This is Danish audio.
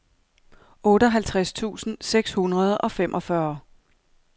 otteoghalvtreds tusind seks hundrede og femogfyrre